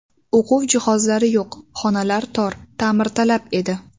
O‘quv jihozlari yo‘q, xonalar tor, ta’mirtalab edi.